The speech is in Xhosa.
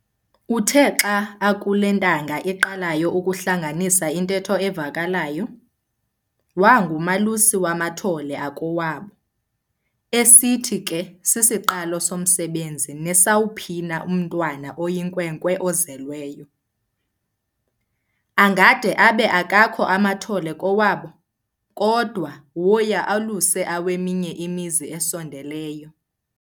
Uthe xa akule ntanga iqalayo ukuhlanganisa intetho evakalayo, wangumalusi wamathole akowabo, esithi ke sisiqalo somsebenzi nesawuphina umntwana oyinkwenkwe ozelweyo. Angade abe akakho amathole kowabo, kodwa woya aluse aweminye imizi esondeleyo.